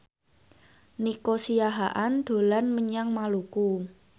Nico Siahaan dolan menyang Maluku